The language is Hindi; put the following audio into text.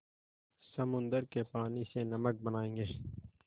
समुद्र के पानी से नमक बनायेंगे